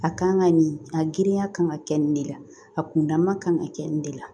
A kan ka nin a girinya kan ka kɛ nin de la a kundama kan ka kɛ nin de la